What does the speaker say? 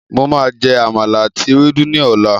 Màá jé àmàlà àti ewédú ní ọ̀là.